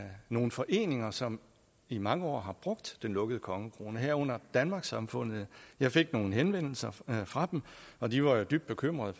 nogle foreninger som i mange år har brugt den lukkede kongekrone herunder danmarkssamfundet jeg fik nogle henvendelser fra dem og de var dybt bekymrede